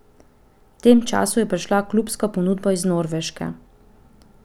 V tem času je prišla klubska ponudba iz Norveške.